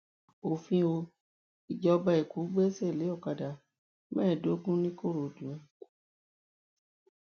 òfin o ìjọba èkó gbẹ́sẹ̀ lé ọkadà mẹ́ẹ̀ẹ́dógún nìkòròdú